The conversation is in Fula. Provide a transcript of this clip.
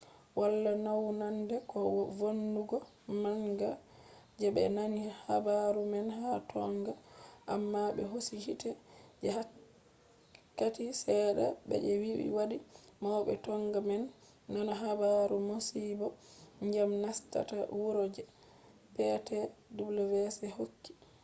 wala naunande ko vonnugo manga je be nani habaru man ha tonga amma be hosi hite je wakkati sedda je be vi hadi maube tonga man nana habaru masibo dyam nastata wuro je ptwc hokki